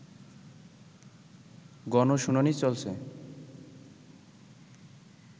গণশুনানি চলছে